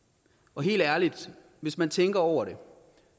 og helt ærligt hvis man tænker over det